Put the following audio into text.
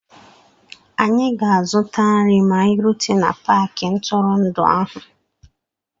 Anyị ga-azụta nri ma anyị rute na paakị ntụrụndụ ahụ.